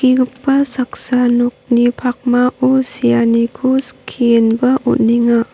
skigipa saksa nokni pakmao seaniko skienba on·enga.